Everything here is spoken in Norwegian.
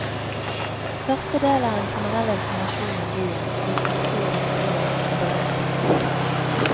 Første del er en generell informasjon om byen, dens kultur, historie og berømte personer.